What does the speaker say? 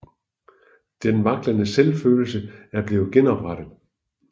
Den vaklende selvfølelse er blevet genoprettet